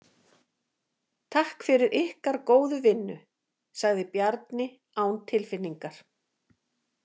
Takk fyrir ykkar góðu vinnu, sagði Bjarni án tilfinningar.